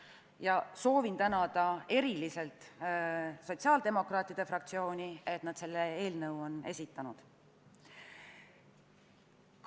Ühtlasi soovin ma eriliselt tänada sotsiaaldemokraatide fraktsiooni, et nad selle eelnõu on esitanud.